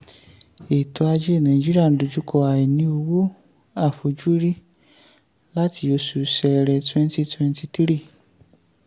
ètò ajé nàìjíríà ń dojú kọ àìní owó àfojúrí láti oṣù ṣẹrẹ 2023.